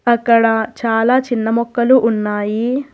అక్కడ చాలా చిన్న మొక్కలు ఉన్నాయి.